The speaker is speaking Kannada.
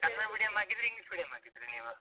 ಕನ್ನಡ medium ಹಾಕಿದ್ರ್ಯಾ, English medium ಹಾಕಿದ್ರ್ಯಾ ನೀವು?